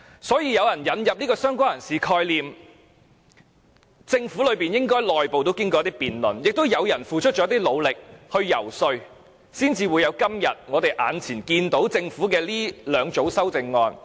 所以，引入"相關人士"的概念，政府內部應該經過辯論，亦有人努力游說，才得出現時政府提交的兩組修正案。